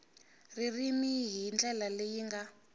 ririmi hi ndlela leyi nga